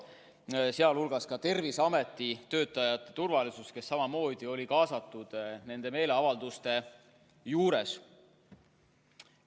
Tähtis on sealhulgas ka Terviseameti töötajate turvalisus, kes samamoodi olid nendele meeleavaldustele kaasatud.